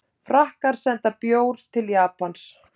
Frakkar senda bór til Japans